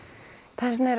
þess vegna er